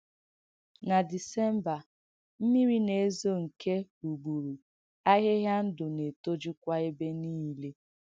Na Désémbà, m̀mírī na-èzō nke ùgbùrù, āhìhìà ndụ̀ na-ètọ́jụkwà ebe niile.